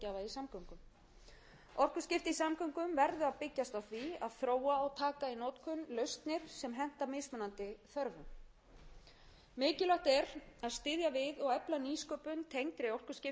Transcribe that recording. samgöngum orkuskipti í samgöngum verða að byggjast á því að þróa og taka í notkun lausnir sem henta mismunandi þörfum mikilvægt er að styðja við og efla nýsköpun tengda orkuskiptum og ekki síst sköpun nýrra starfa við